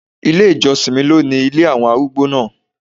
Ilé ìjọsìn mi ló ni ilé àwọn arúgbó náà.